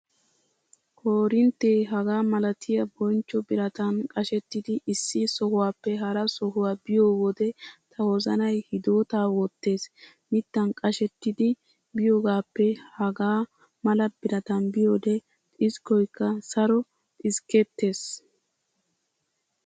Korinttee hagaa malatiya bonchcho biratan qashettidi issi sohuwaappe hara sohuwaa biyo wode ta wozanay hidootaa wottees. Mittan qashettidi biyogaappe hagaa mala biratan biyoode xiskkoykka saro xiskkettees.